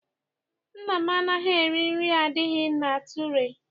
Nna m anaghị eri nri adịghị na ture.